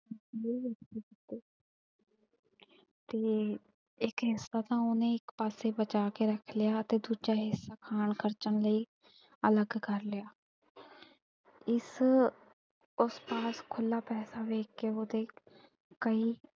ਤੇ ਇਕ ਹਿਸਾ ਤਾਂ ਉਹਨੇ ਇਕ ਪਾਸੇ ਬਚਾ ਕੇ ਰੱਖ ਲਿਆ ਤੇ ਦੂਜਾ ਹਿਸਾ ਖਾਣ ਖ਼ਰਚਣ ਲਈ ਅਲੱਗ ਕਰ ਲਿਆ ਇਸ ਉਸਦਾ ਖੁੱਲ੍ਹਾ ਪੈਸਾ ਵੇਖ ਕੇ ਉਹਦੇ ਕਈ।